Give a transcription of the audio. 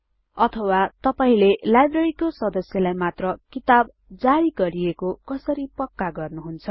अथवा तपाईले लाइब्रेरीको सदस्यलाई मात्र किताब जारी गरिएको कसरी पक्का गर्नुहुन्छ160